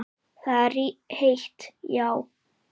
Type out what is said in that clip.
Það er heitt, já.